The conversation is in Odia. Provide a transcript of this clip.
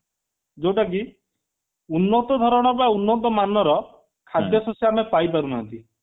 ଯୋଉଟା କି ଉନ୍ନତ ଧରଣର ଉନ୍ନତ ମାନର ଖାଦ୍ୟ ଶସ୍ୟ ଆମେ ପାଇ ପାରୁନାହାନ୍ତି